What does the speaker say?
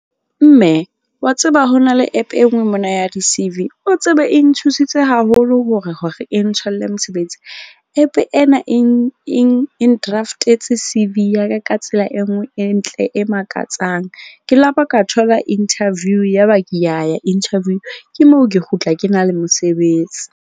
Mme wa tseba ho na le app e nngwe mona ya di-C_V, o tsebe e nthusitse haholo hore e ntholle mosebetsi. App ena e n-draft-etse C_V ya ka tsela e nngwe e ntle, e makatsang. Ke la ba ka thola interview ya ba ke ya ya interview. Ke moo ke kgutla ke na le mosebetsi.